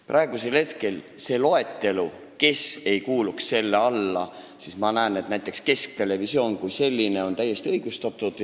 Praegusest loetelust, kes ei kuuluks selle alla, ma näen, et näiteks kesktelevisioon kui selline on täiesti õigustatud.